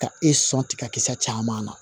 Ka e sɔn tigakisɛ caman na